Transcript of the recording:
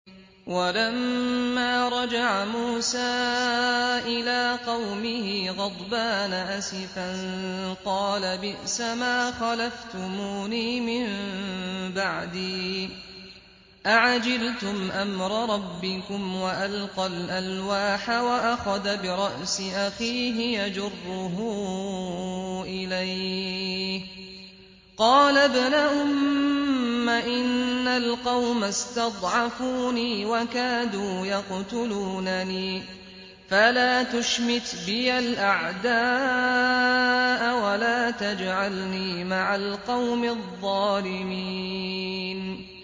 وَلَمَّا رَجَعَ مُوسَىٰ إِلَىٰ قَوْمِهِ غَضْبَانَ أَسِفًا قَالَ بِئْسَمَا خَلَفْتُمُونِي مِن بَعْدِي ۖ أَعَجِلْتُمْ أَمْرَ رَبِّكُمْ ۖ وَأَلْقَى الْأَلْوَاحَ وَأَخَذَ بِرَأْسِ أَخِيهِ يَجُرُّهُ إِلَيْهِ ۚ قَالَ ابْنَ أُمَّ إِنَّ الْقَوْمَ اسْتَضْعَفُونِي وَكَادُوا يَقْتُلُونَنِي فَلَا تُشْمِتْ بِيَ الْأَعْدَاءَ وَلَا تَجْعَلْنِي مَعَ الْقَوْمِ الظَّالِمِينَ